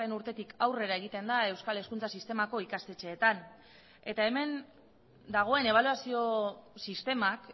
urtetik aurrera egiten da euskal hezkuntza sistemako ikastetxeetan eta hemen dagoen ebaluazio sistemak